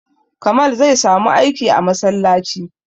Kamal zai samu aiki a masallaci